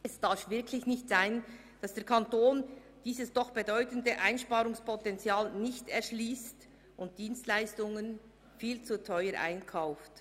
Es darf wirklich nicht sein, dass der Kanton dieses bedeutende Einsparungspotenzial nicht erschliesst und Dienstleistungen viel zu teuer einkauft.